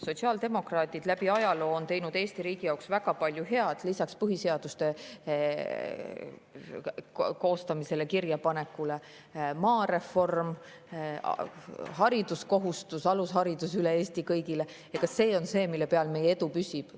Sotsiaaldemokraadid on läbi ajaloo teinud Eesti riigi jaoks väga palju head: lisaks põhiseaduse koostamisele ja kirjapanekule maareform, hariduskohustus, alusharidus üle Eesti kõigile, ja see on see, mille peal meie edu püsib.